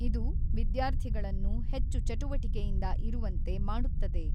ಇದು ವಿದ್ಯಾರ್ಥಿಗಳನ್ನು ಹೆಚ್ಚು ಚಟುವಟಿಕೆಯಿಂದ ಇರುವಂತೆ ಮಾಡುತ್ತದೆ.